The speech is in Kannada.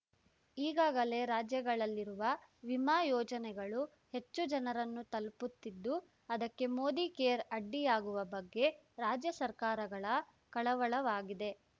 ಈಗಾಗಲೇ ರಾಜ್ಯಗಳಲ್ಲಿರುವ ವಿಮಾ ಯೋಜನೆಗಳು ಹೆಚ್ಚು ಜನರನ್ನು ತಲುಪುತ್ತಿದ್ದು ಅದಕ್ಕೆ ಮೋದಿಕೇರ್ ಅಡ್ಡಿಯಾಗುವ ಬಗ್ಗೆ ರಾಜ್ಯ ಸರ್ಕಾರಗಳ ಕಳವಳವಾಗಿದೆ